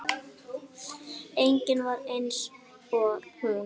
Engin var eins og hún.